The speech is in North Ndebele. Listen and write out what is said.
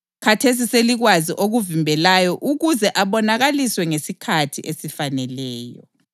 Khathesi selikwazi okumvimbelayo ukuze abonakaliswe ngesikhathi esifaneleyo.